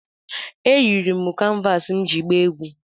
Eyiri m kanvas m iji gbaa egwu